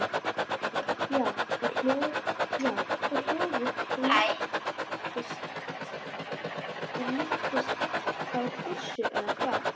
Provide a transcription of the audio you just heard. Ásgeir: Já, og hljóðið líkist þá byssu eða hvað?